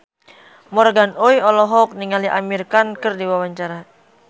Morgan Oey olohok ningali Amir Khan keur diwawancara